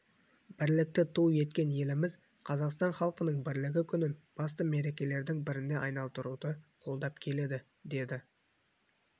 бірлікті ту еткен еліміз қазақстан халқының бірлігі күнін басты мерекелердің біріне айналдыруды қолдап келеді деді